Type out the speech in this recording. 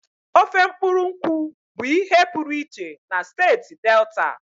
Ofe mkpuru nkwu bụ ihe pụrụ iche na steeti Delta.